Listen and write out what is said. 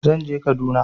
Zan je Kaduna.